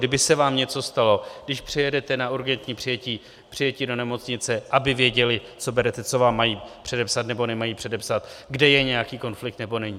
Kdyby se vám něco stalo, když přijedete na urgentní přijetí do nemocnice, aby věděli, co berete, co vám mají předepsat nebo nemají předepsat, kde je nějaký konflikt nebo není.